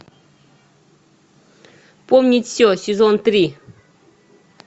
помнить все сезон три